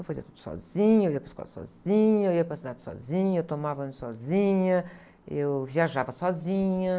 Eu fazia tudo sozinha, eu ia para a escola sozinha, eu ia para a cidade sozinha, eu tomava banho sozinha, eu viajava sozinha.